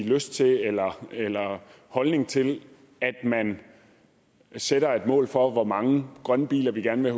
lyst til eller eller holdning til at man sætter et mål for hvor mange grønne biler vi gerne vil